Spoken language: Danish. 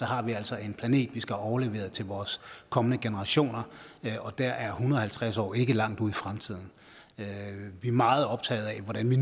har vi altså en planet vi skal aflevere til vores kommende generationer og der er en og halvtreds år ikke langt ude i fremtiden vi er meget optaget af hvordan vi